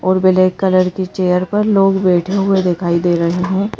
और black colour की chair पर लोग बैठे हुए दिखाई दे रहे हैं।